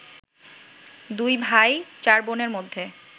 দুই ভাই চার বোনের মধ্যে